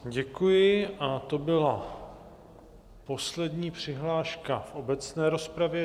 Děkuji a to byla poslední přihláška v obecné rozpravě.